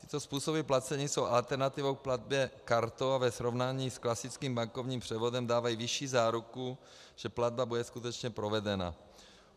Tyto způsoby placení jsou alternativou k platbě kartou a ve srovnání s klasickým bankovním převodem dávají vyšší záruku, že platba bude skutečně provedena.